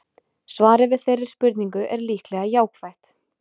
Svarið við þeirri spurningu er líklega jákvætt.